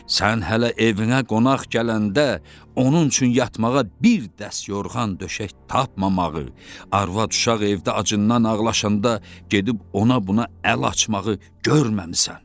Sən hələ evinə qonaq gələndə onun üçün yatmağa bir dəst yorğan-döşək tapmamağı, arvad-uşaq evdə acından ağlaşanda gedib ona-buna əl açmağı görməmisən.